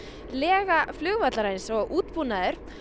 lega flugvallarins og útbúnaður